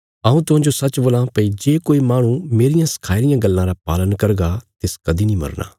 हऊँ तुहांजो सच्च बोल्लां भई जे कोई माहणु मेरियां सखाई रियां गल्लां रा पालन करगा तिस कदीं नीं मरना